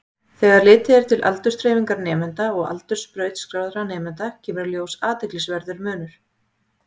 Þegar litið er til aldursdreifingar nemenda og aldurs brautskráðra nemenda kemur í ljós athyglisverður munur.